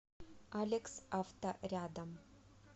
алекс авто рядом